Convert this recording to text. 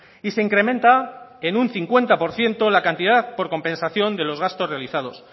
y se incrementa en un cincuenta por ciento la cantidad por compensación de los gastos realizados